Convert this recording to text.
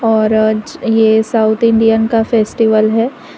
और यह south Indian का फेस्टिवल है।